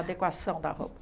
A adequação da roupa.